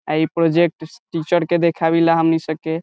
आ इ project teacher के देखावीला हमनी सके।